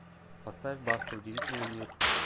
поставь баста удивительный мир